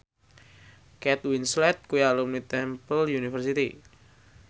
Kate Winslet kuwi alumni Temple University